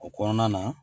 O kɔnɔna na